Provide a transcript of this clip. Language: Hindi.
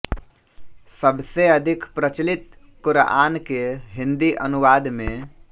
सबसे अधिक प्रचलित क़ुरआन के हिंदी अनुवाद में